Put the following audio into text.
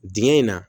Dingɛ in na